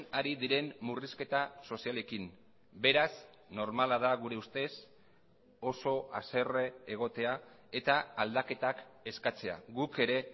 ari diren murrizketa sozialekin beraz normala da gure ustez oso haserre egotea eta aldaketak eskatzea guk ere